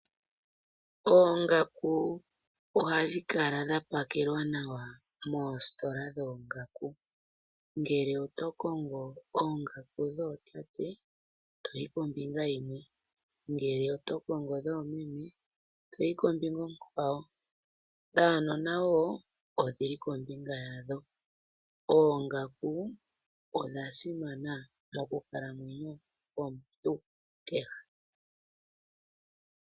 Oongaku ohadhi kala dha pakelwa nawa moositola dhoongaku. Ngele oto kongo oongaku dhootate to yi kombinga yadho, ngele oto kongo dhoomeme to yi kombinga yadho, dhaanona wo odhili kombinga yadho. Oongaku odha simana monkalanwenyo yomuntu kehe.